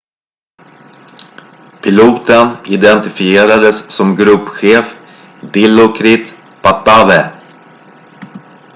piloten identifierades som gruppchef dilokrit pattavee